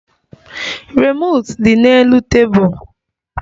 Remootu di n'elu tebụl